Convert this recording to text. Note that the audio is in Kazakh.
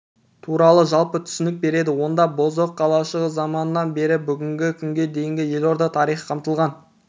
туралы жалпы түсінік береді онда бозоқ қалашығы заманынан бері бүгінгі күнге дейін елорда тарихы қамтылған